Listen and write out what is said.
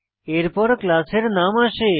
এরপর ক্লাস এর নাম আসে